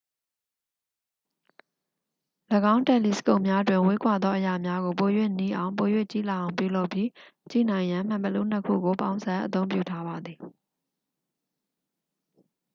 ၎င်းတယ်လီစကုပ်များတွင် ဝေးကွာသောအရာများကို ပို၍နီးအောင် ပို၍ကြီးလာအောင်ပြုလုပ်ပြီး ကြည့်နိုင်ရန် မှန်ဘီလူး နှစ် ခုကို ပေါင်းစပ်အသုံးပြုထားပါသည်